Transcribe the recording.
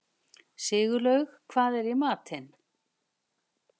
Sigurlaug, hvað er í matinn?